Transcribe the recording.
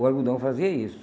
O algodão fazia isso.